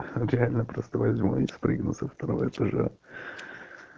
реально просто возьму и спрыгнул со второго этажа